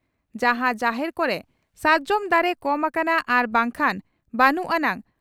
ᱡᱟᱦᱟᱸ ᱡᱟᱦᱮᱨ ᱠᱚᱨᱮ ᱥᱟᱨᱡᱚᱢ ᱫᱟᱨᱮ ᱠᱚᱢ ᱟᱠᱟᱱᱟ ᱟᱨ ᱵᱟᱝᱠᱷᱟᱱ ᱵᱟᱹᱱᱩᱜ ᱟᱱᱟᱝ